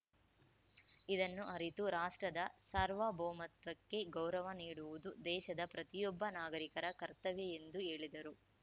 ಇದನ್ನು ಅರಿತು ರಾಷ್ಟ್ರದ ಸಾರ್ವಭೌಮತ್ವಕ್ಕೆ ಗೌರವ ನೀಡುವುದು ದೇಶದ ಪ್ರತಿಯೊಬ್ಬ ನಾಗರಿಕರ ಕರ್ತವ್ಯ ಎಂದು ಹೇಳಿದರು